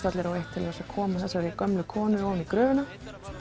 allir á eitt til að koma þessari gömlu konu í gröfina